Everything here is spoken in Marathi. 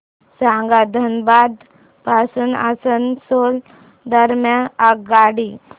सांगा धनबाद पासून आसनसोल दरम्यान आगगाडी